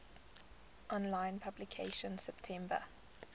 online publication september